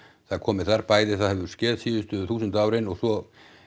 það komi þar bæði það hefur skeð síðustu þúsund árin og svo